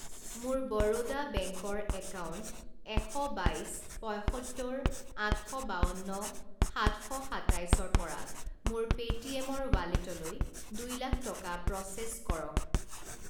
মোৰ বৰোদা বেংক ৰ একাউণ্ট এশ বাইছ‌ পঁইসত্তৰ আঠ শ বাৱন্ন সাত শ সাতাইছ ৰ পৰা মোৰ পে'টিএম ৰ ৱালেটলৈ দুই লাখ টকা প্ৰ'চেছ কৰক।